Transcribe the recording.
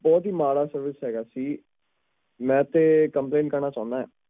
ਬਹੁਤ ਹੀ ਮਾੜਾ experience ਹੈਗਾ ਸੀ ਮੈਂ ਤੇ complaint ਕਰਨਾ ਚਾਹੁਣਾ ਆ